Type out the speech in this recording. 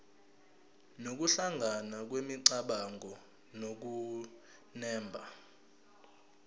nokuhlangana kwemicabango nokunemba